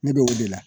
Ne bɛ o de la